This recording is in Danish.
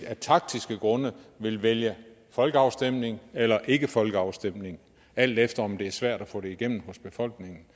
af taktiske grunde vil vælge folkeafstemning eller ikke vælge folkeafstemning alt efter om det er svært at få igennem hos befolkningen